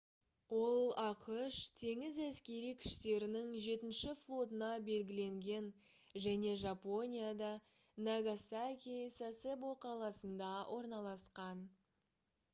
ол ақш теңіз әскери күштерінің жетінші флотына белгіленген және жапонияда нагасаки сасебо қаласында орналасқан